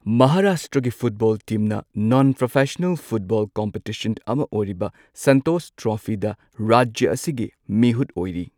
ꯃꯍꯥꯔꯥꯁꯇ꯭ꯔꯒꯤ ꯐꯨꯇꯕꯣꯜ ꯇꯤꯝꯅ non professional football competition ꯑꯃ ꯑꯣꯏꯔꯤꯕ ꯁꯟꯇꯣꯁ ꯇ꯭ꯔꯣꯐꯤꯗ ꯔꯥꯖ꯭ꯌ ꯑꯁꯤꯒꯤ ꯃꯤꯍꯨꯠ ꯑꯣꯏꯔꯤ꯫